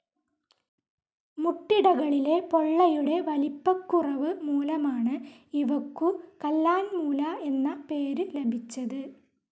മുട്ടിടകളിലെ പൊള്ളയുടെ വലിപ്പക്കുറവ് മൂലമാണ് ഇവക്കു കല്ലാൻമൂല എന്ന പേര് ലഭിച്ചത്.